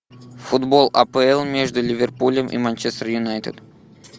футбол апл между ливерпулем и манчестер юнайтед